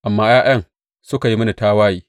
Amma ’ya’yan suka yi mini tawaye.